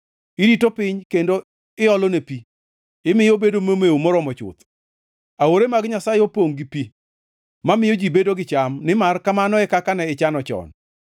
Irito piny kendo iolone pi, imiyo obedo momew moromo chuth. Aore mag Nyasaye opongʼ gi pi mamiyo ji bedo gi cham, nimar kamano e kaka ne ichano chon.